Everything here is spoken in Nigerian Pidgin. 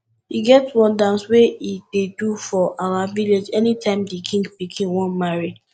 e get one dance we ey do for our village anytime the king pikin wan marry